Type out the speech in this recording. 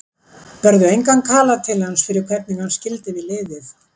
Berðu engan kala til hans fyrir hvernig hann skildi við liðið?